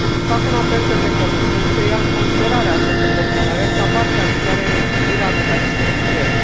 Fac un apel către Comisie să ia în considerare această propunere, ca parte a viitoarei revizuiri a mecanismului ETS.